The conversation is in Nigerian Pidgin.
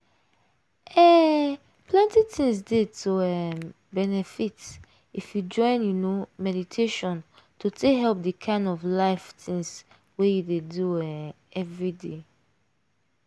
um plenty things dey to um benefit if you join you know meditation to take help the kind of life things wey you dey do um everyday.